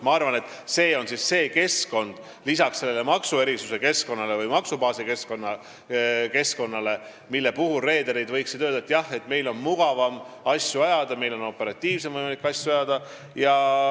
Ma arvan, et see on see keskkond, lisaks sellele maksubaasi keskkonnale, mille kohta reederid võiksid öelda, et jah, meil on mugavam asju ajada, meil on võimalik operatiivsemalt asju ajada.